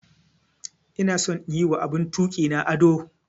Ina son in yi wa abun tuki na ado.